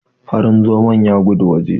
Farin zomon ya gudu waje.